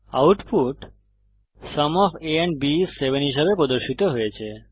output sum of a and b is 7 হিসাবে প্রদর্শিত হয়েছে